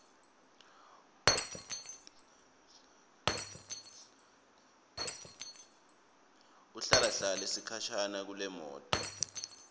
ahlalahlale sikhashana kulemoto